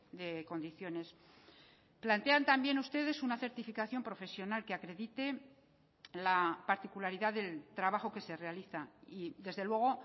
de condiciones plantean también ustedes una certificación profesional que acredite la particularidad del trabajo que se realiza y desde luego